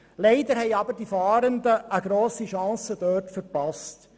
Leider haben die Fahrenden dort eine grosse Chance verpasst.